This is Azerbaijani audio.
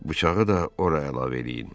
Bıçağı da ora əlavə eləyin.